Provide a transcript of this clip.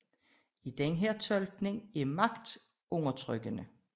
I denne tolkning er magt undertrykkende